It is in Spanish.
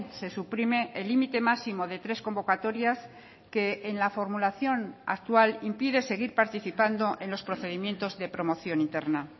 se suprime el límite máximo de tres convocatorias que en la formulación actual impide seguir participando en los procedimientos de promoción interna